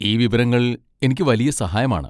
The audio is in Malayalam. ഈ വിവരങ്ങൾ എനിക്ക് വലിയ സഹായമാണ്.